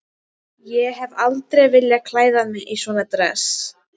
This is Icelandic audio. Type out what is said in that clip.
Ég hef aldrei viljað klæða mig í svona dress.